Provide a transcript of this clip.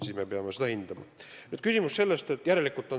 Siis me peame seda uuesti hindama.